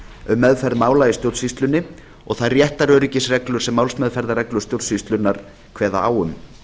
um meðferð mála í stjórnsýslunni og þær réttaröryggisreglur sem málsmeðferðarreglur stjórnsýslunnar kveða á um